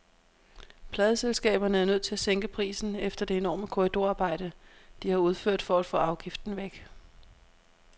Pladeselskaberne er nødt til at sænke prisen efter det enorme korridorarbejde, de har udført for at få afgiften væk.